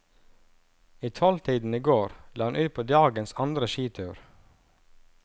I tolvtiden i går la hun ut på dagens andre skitur.